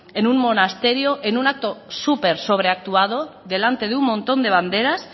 en un monasterio en un acto súper sobreactuado delante de un montón de banderas